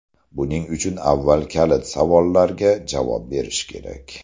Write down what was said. Buning uchun avval kalit savollarga javob berish kerak.